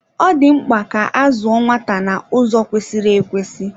Ọ di mpka ka azụọ nwata na ụzọ kwesịrị ekwesị.